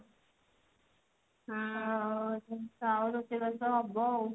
ଆଉ ରୋଷେଇ ବାସ ହବ ଆଉ